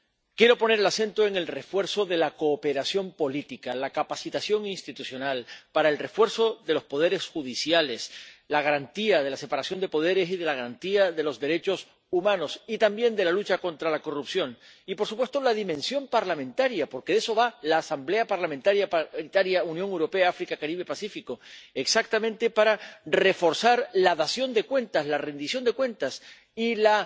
Quiero poner el acento en el refuerzo de la cooperación política, la capacitación institucional para el refuerzo de los poderes judiciales, la garantía de la separación de poderes y la garantía de los derechos humanos y también de la lucha contra la corrupción y, por supuesto, la dimensión parlamentaria, porque de eso va la Asamblea Parlamentaria Unión Europea y África, Caribe y Pacífico, exactamente para reforzar la dación de cuentas, la rendición de cuentas, y la